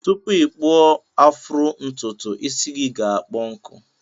Tupu ikpụọ afro ntụtụ isi gi ga akpọ nkụ.